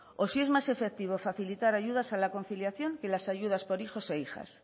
o si es más efectivo facilitar ayudas a la conciliación que las ayudas por hijos e hijas